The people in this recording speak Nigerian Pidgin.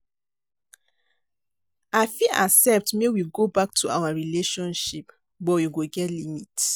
I fit accept make we go back to our relationship, but we go get limit.